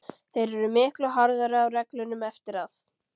Þeir eru miklu harðari á reglunum eftir að